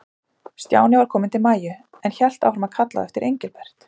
Stjáni var kominn til Maju, en hélt áfram að kalla á eftir Engilbert.